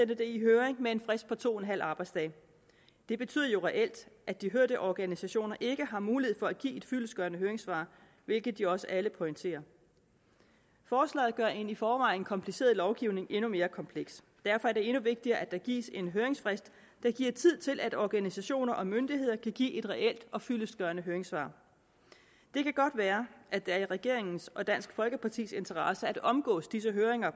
i høring med en frist på to en halv arbejdsdag det betyder jo reelt at de hørte organisationer ikke har mulighed for at give et fyldestgørende høringssvar hvilket de også alle pointerer forslaget gør en i forvejen kompliceret lovgivning endnu mere kompleks derfor er det endnu vigtigere at der gives en høringsfrist der giver tid til at organisationer og myndigheder kan give et reelt og fyldestgørende høringssvar det kan godt være at det er i regeringens og dansk folkepartis interesse at omgå disse høringer